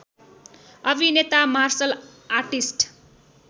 अभिनेता martial artist